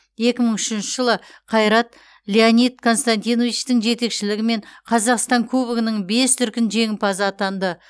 екі мың үшінші жылы қайрат леонид константиновичтің жетекшілігімен қазақстан кубогының бес дүркін жеңімпазы атанды